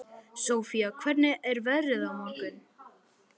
Sofía, hvernig er veðrið á morgun?